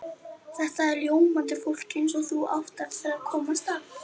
Þetta er ljómandi fólk eins og þú átt eftir að komast að.